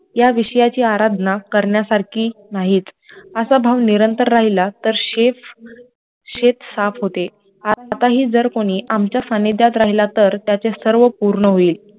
त्या विषयाची आराधना करण्यासारखी नाहीत, असा भाव निरंतर राहिला तर शेत साफ होते आताही जर कोणी आमच्या सानिध्यात राहिला तर ते सर्व पूर्ण होईल